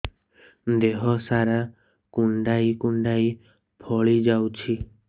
ଦେହ ସାରା କୁଣ୍ଡାଇ କୁଣ୍ଡାଇ ଫଳି ଯାଉଛି